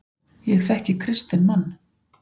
Ég þekki kristinn mann.